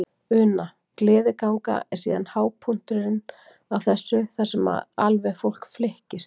Una: Gleðiganga er síðan hápunkturinn á þessu þar sem að alveg fólk flykkist?